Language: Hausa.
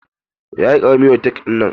Yayi ƙarami wa take dinnan.